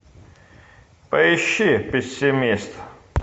поищи пессимист